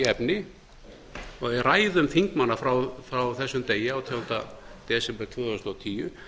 efni og í ræðum þingmanna frá þessum degi átjánda desember tvö þúsund og tíu